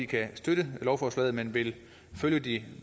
kan støtte lovforslaget men vil følge de